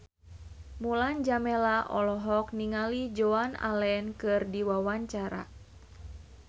Mulan Jameela olohok ningali Joan Allen keur diwawancara